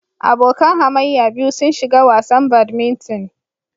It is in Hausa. Abokan hamayya biyu sun shiga wasan badminton.